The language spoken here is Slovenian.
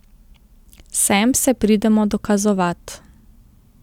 Sem se pridemo dokazovat.